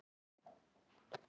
En eru menn þá skáld?